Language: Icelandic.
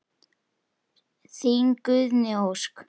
Þín Guðný Ósk.